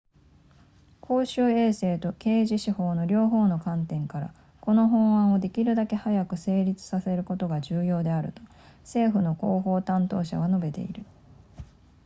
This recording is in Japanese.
「公衆衛生と刑事司法の両方の観点から、この法案をできるだけ早く成立させることが重要であると」、政府の広報担当者は述べている